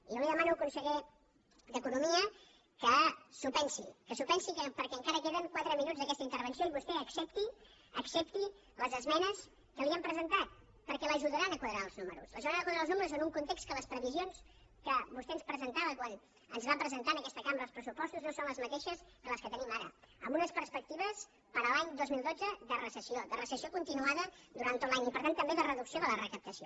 i jo li demano conseller d’economia que s’ho pensi que s’ho pensi perquè encara queden quatre minuts d’aquesta intervenció i vostè accepti les esmenes que li hem presentat perquè l’ajudaran a quadrar els números l’ajudaran a quadrar els números en un context en què les previsions que vostè ens presentava quan ens va presentar en aquesta cambra els pressupostos no són les mateixes que les que tenim ara amb unes perspectives per a l’any dos mil dotze de recessió de recessió continuada durant tot l’any i per tant també de reducció de la recaptació